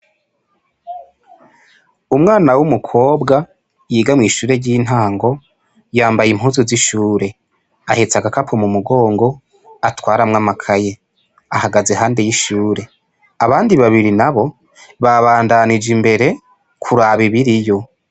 Umwana w'umukobwa yiga mw'ishure ry'intango yambaye impuzu z'ishure ahetse agakapo mu mugongo atwaramwo amakaye ahagaze ahandi y'ishure abandi babiri nabo babandanije imbere kuraba ibiriyo.